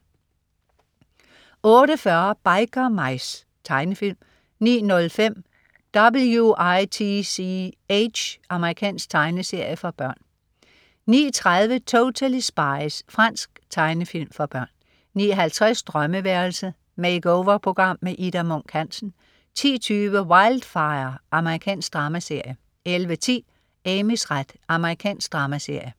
08.40 Biker Mice. Tegnefilm 09.05 W.i.t.c.h. Amerikansk tegnefilmserie for børn 09.30 Totally Spies. Fransk tegnefilm for børn 09.50 Drømmeværelset. Make-over-program. Ida Munk Hansen 10.20 Wildfire. Amerikansk dramaserie 11.10 Amys ret. Amerikansk dramaserie